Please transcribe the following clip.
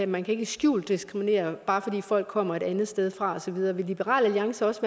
man kan ikke skjult diskriminere bare fordi folk kommer et andet sted fra og så videre vil liberal alliance også